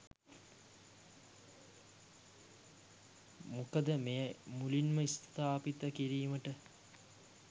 මොකද මෙය මුලින්ම ස්ථාපිත කිරීමට